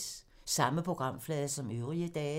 Samme programflade som øvrige dage